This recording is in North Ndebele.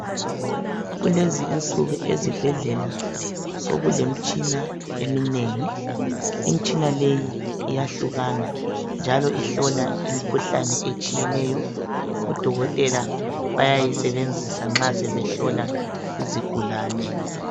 Kulezi insuku ezibhedlela sokulemtshina eminengi. Imtshina leyi iyahlukana njalo ihlola imkhuhlane etshiyeneyo. Odokotela bayayisebenzisa nxa sebehlola izigulane.